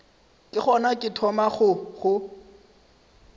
ke gona ke thomago go